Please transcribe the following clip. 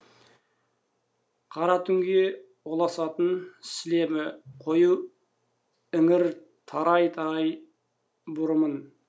қара түнге ұласатын сілемі қою іңір тарай тарай бұрымын